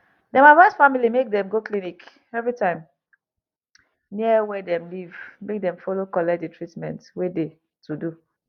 dem advice family make dem go clinic every time near wey dem live make dem follow collect de treatment wey de to do